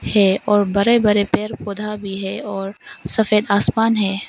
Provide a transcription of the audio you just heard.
और बड़े बड़े पेड़ पौधा भी है और सफेद आसमान है।